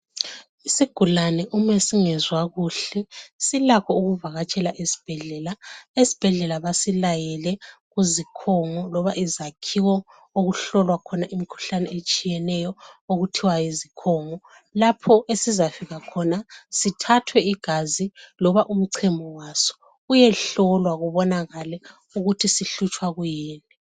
Isigulane uma singezwa kuhle silakho ukuvakatshela isibhedlela esibhedlela basilayele kuzikhungo loba izakhiwo okuhlolwa khona imikhuhlane etshiyeneyo okuthiwa yizikhongo lapho esizafika khona sithathwe igazi loba umchemo waso uyehlolwa kubbonakale ukuthi sihlutshwa kuyini